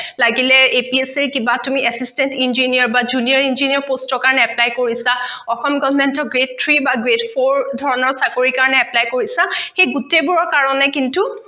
লাগিলে APSC ৰ কিবা তুমি Assistant Engineer বা Juniour Engineer Post ৰ কাৰণে Apply কৰিছা অসম Government Grade Three বা Grade four ধৰণৰ চাকৰি কাৰণে Apply কৰিছা সেই গোটেইবোৰৰ কাৰণে কিন্তু